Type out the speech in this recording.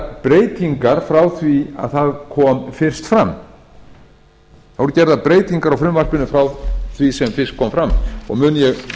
breytingar frá því að það kom fyrst fram og mun ég víkja að þeim ég